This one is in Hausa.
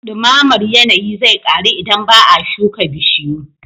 Ɗumamar yanayi zai ƙaru idan ba a shuka bishiyu